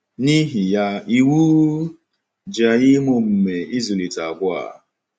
N’ihi ya, iwu ji anyị ime omume ịzụlite àgwà a.